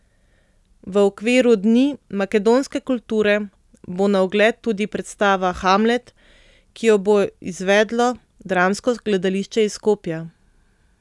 V okviru dni makedonske kulture bo na ogled tudi predstava Hamlet, ki jo bo izvedlo dramsko gledališče iz Skopja.